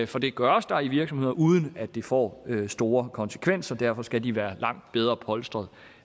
for det gøres der i virksomheder uden at det får store konsekvenser derfor skal de være langt bedre polstret